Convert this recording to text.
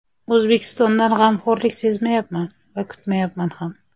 O‘zbekistondan g‘amxo‘rlik sezmayapman va kutmayapman ham.